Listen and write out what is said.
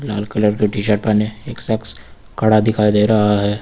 लाल colour की T shirt पहने एक शख्स खड़ा दिखाई दे रहा है।